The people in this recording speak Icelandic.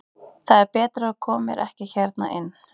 Það er betra að þú komir ekki hérna inn.